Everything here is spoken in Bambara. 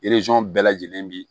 bɛɛ lajɛlen bi